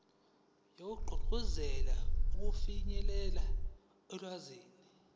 wokugqugquzela ukufinyelela olwazini